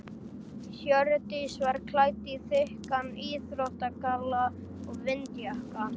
Hjördís var klædd í þykkan íþróttagalla og vindjakka.